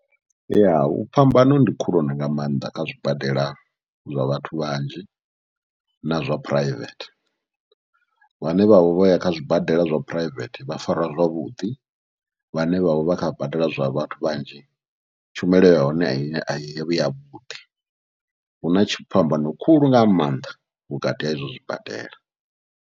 Ya phambano ndi khulwane nga maanḓa kha zwibadela zwa vhathu vhanzhi na zwa phuraivethe, vhane vhavha vho ya kha zwibadela zwa phuraivethe vha fariwa zwavhuḓi, vhane vhavha kha zwibadela zwa vhathu vhanzhi tshumelo ya hone ai vhi yavhuḓi, huna phambano khulu nga maanḓa vhukati ha hezwo zwibadela.